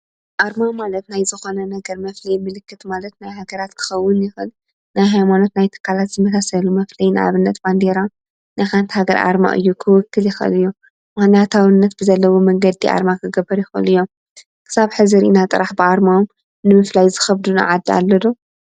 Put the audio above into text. ኣርማ ማለት ናይ ዝኮነ ነገር መፍለይ ምልክት ማለት ናይ ሃገራት ክከውን ይክእል፣ ናይ ሃይማኖት፣ ናይ ትካላት ዝመሳሰሉ መፈለይ ንኣብነት ባንዴራ ናይ ሓንቲ ሃገር ኣርማ እዩ ክውክል ይክእል እዩ፡፡ ምክንያታዊነት ብዘለዎ መንገዲ ኣርማ ክገብሩ ይክእሉ እዮም፡፡ ክሳብ ሕዚ ሪኢና ጥራይ ብኣርምኦ ንምፈላይ ዝከብደና ዓዲ ኣሎ ዶ?